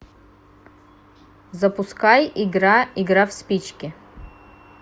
запускай игра игра в спички